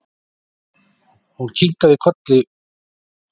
Hún kinkaði kolli og sýndi á sér fararsnið.